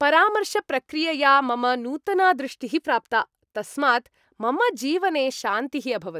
परामर्शप्रक्रियया मम नूतना दृष्टिः प्राप्ता। तस्मात् मम जीवने शान्तिः अभवत् ।